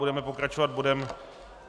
Budeme pokračovat bodem